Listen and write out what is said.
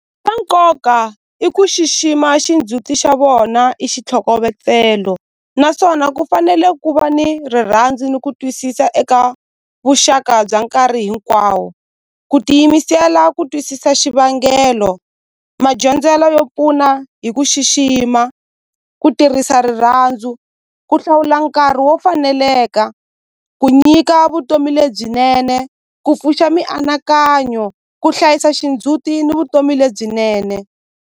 Swa nkoka i ku xixima xindzhuti xa vona i xitlhokovetselo naswona ku fanele ku va ni rirhandzu ni ku twisisa eka vuxaka bya nkarhi hinkwawo ku tiyimisela ku twisisa xivangelo madyondzelo yo pfuna hi ku xixima ku tirhisa rirhandzu ku hlawula nkarhi wo faneleka ku nyika vutomi lebyinene ku pfuxa mianakanyo ku hlayisa xindzuti ni vutomi lebyinene.